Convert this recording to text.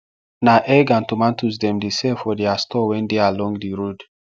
na egg and tomatoes dem dey sell for their store wen dey along the road